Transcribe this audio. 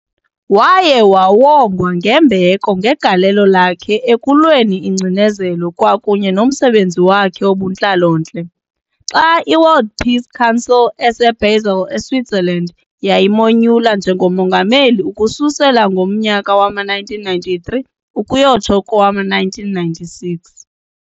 Waye wawongwa ngembeko ngegalelo lakhe ekulweni ingcinezelo kwakunye nomsebenzi wakhe wobuntlalo-ntle, xa i-World Peace Council eseBasel eSwitzerland yayimonyula njngoMongameli ukususela ngomnyaka wama-1993 ukuyotsho kowama-1996.